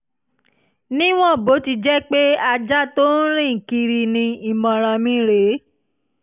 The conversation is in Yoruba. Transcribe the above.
níwọ̀n bó ti jẹ́ pé ajá tó ń rìn kiri ni ìmọ̀ràn mi rè é